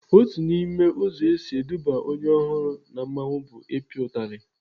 Otu n'ime ụzọ esi eduba onye ọhụrụ na mmanwụ bụ ịpịa utali.